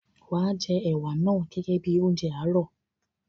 Wàá jẹ ẹ̀wà naa gẹ́gẹ́ bíi oúnjẹ àárọ̀.